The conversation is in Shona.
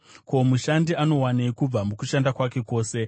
Ko, mushandi anowanei kubva mukushanda kwake kwose?